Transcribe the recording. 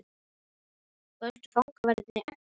Földu fangaverðirnir eggin?